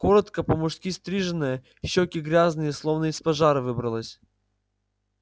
коротко по-мужски стриженная щеки грязные словно из пожара выбралась